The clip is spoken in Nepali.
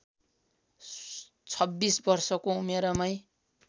१६ वर्षको उमेरमै